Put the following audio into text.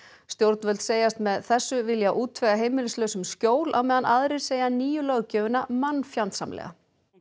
stjórnvöld segjast með þessu vilja útvega heimilislausum skjól á meðan aðrir segja nýju löggjöfina mannfjandsamlega